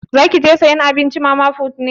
Zaki je sayan abinci a mama put ne?